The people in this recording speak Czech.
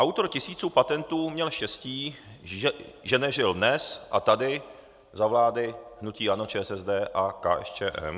Autor tisíců patentů měl štěstí, že nežil dnes a tady za vlády hnutí ANO, ČSSD a KSČM.